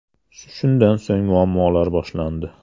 Shundan so‘ng muammolar boshlandi.